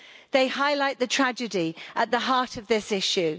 They highlight the tragedy at the heart of this issue.